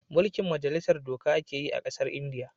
Mulkin majalisar doka a ke yi a kasan indiya